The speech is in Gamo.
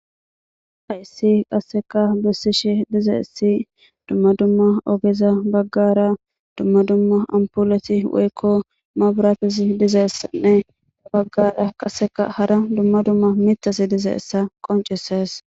haisi qasseka bessishi dizeissi dumma dumma ogeza baggara dumma dumma ampuleti woykko mabratisi dizeessanne baggara qasseka hara dumma dumma mitasi dizeessa qoncisees